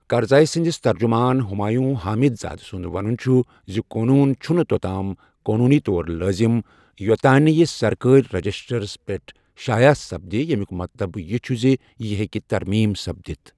کرزٔیی سٕندِس ترجُمان، ہُمایوں حامِد زادہ سُنٛد وَنُن چُھ زِ قونوٗن چُھنہٕ توٚتام قوٛنوٗنی طور لٲزِم یوٚتام نہٕ یہٕ سرکٲرۍ رجِسٹرسپٮ۪ٹھ شایع سپدِ، ییٚمِیُک مَطلَب یہِ چُھ زِ یہِ ہیٚكہِ ترمیم سپدِتھ ۔